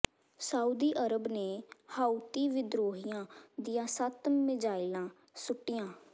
Saudi Arab ਨੇ Houthi ਵਿਦਰੋਹੀਆਂ ਦੀਆਂ ਸੱਤ ਮਿਜ਼ਾਈਲਾਂ ਸੁੱਟੀਆਂ